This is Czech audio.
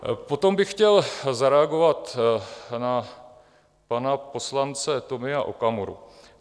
Potom bych chtěl zareagovat na pana poslance Tomia Okamuru.